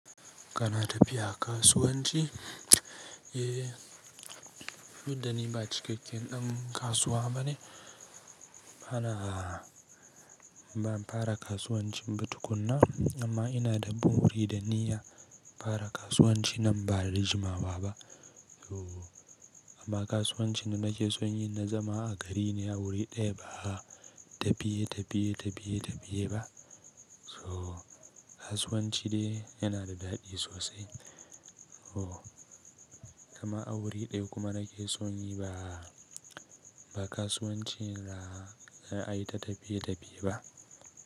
Kana tafiya kasuwanci? Eh, tldud da ni ba cikakken dan kasuwa bane. Bana ban fara kasuwancin ba tukuna amma ina da buri da niyya fara kasuwanci nan ba da jimawa ba. So amma kasuwancin nake son yi na zama a gari ne a wuri ɗaya ba tafiye tafiye tafiye tafiye ba. So kasuwanci dai yana da daɗi sosai. So, amma a wuri ɗaya kuma nake son yi ba, ba kasuwancin za a yi ta tafiye tafiye ba.